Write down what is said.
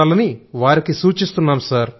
ఉండాలని వారికి సూచిస్తున్నాం